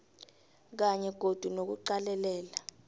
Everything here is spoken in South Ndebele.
kanye godu nokuqalelela